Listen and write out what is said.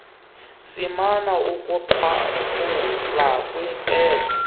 simana ukugqwathula kwiintetho